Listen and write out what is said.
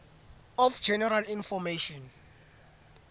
of general information